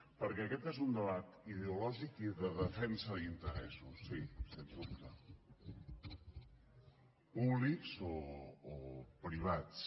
perquè aquest és un debat ideològic i de defensa d’interessos sí sens dubte públics o privats